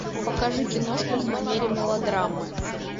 покажи киношку в манере мелодрамы